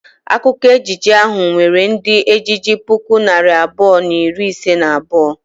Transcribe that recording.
Akwụkwọ ejije ahụ nwere ndị ejije puku na narị abụọ na iri ise na abụọ.